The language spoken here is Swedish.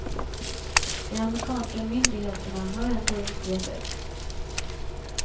De amerikanska myndigheterna har ändå inte gett upp.